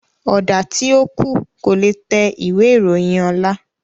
Ọ̀dà tí ó kù, kò le tẹ ìwé ìròyìn ọ̀la